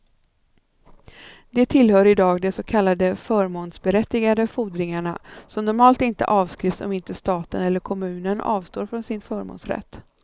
De tillhör i dag de så kallade förmånsberättigade fordringarna, som normalt inte avskrivs om inte staten eller kommunen avstår från sin förmånsrätt.